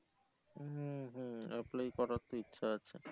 হম হম apply করার তো ইচ্ছা আছে